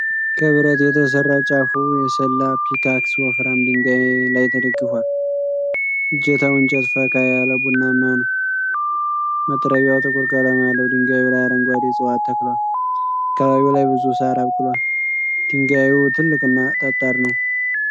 ከብረት የተሰራ ጫፉ የሰላ ፒክ አክስ ወፍራም ድንጋይ ላይ ተደግፎአል። የእጀታው እንጨት ፈካ ያለ ቡናማ ነው። መጥረቢያው ጥቁር ቀለም አለው። ድንጋዩ ላይ አረንጓዴ ዕፀዋት ተክለዋል። አካባቢው ላይ ብዙ ሣር አብቅሏል። ድንጋዩ ትልቅና ጠጣር ነው።